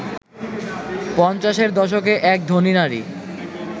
পঞ্চাশের দশকে এক ধনী নারী